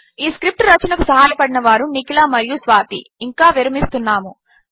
ఈ స్క్రిప్ట్ రచనకు సహాయపడినవారు నిఖిల మరియు స్వాతి ఇంక విరమిస్తున్నాము